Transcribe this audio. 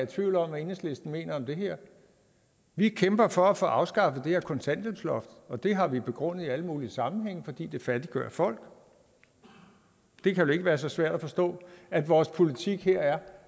tvivl om hvad enhedslisten mener om det her vi kæmper for at få afskaffet det her kontanthjælpsloft og det har vi begrundet i alle mulige sammenhænge nemlig fordi det fattiggør folk det kan vel ikke være så svært at forstå at vores politik her er